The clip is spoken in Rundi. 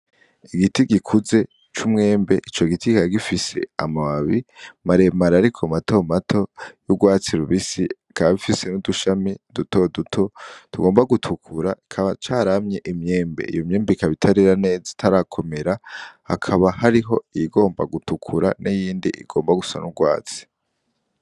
Igiti gikuze c'umwembe, Ico giti kikaba gifise amababi mare mare, ariko mato mato y'urwatsi rubisi bikaba bifise n'udushami duto duto tugomba gutukura kikaba caramye imyembe, iyo myembe ikaba itarera neza itarakomera hakaba hariho iyigomba gutukura n'iyindi igomba gusa n'urwatsi.